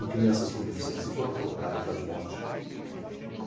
E crianças com deficiência foram colocadas lá de monte.